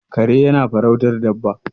kare yana farautar Dabba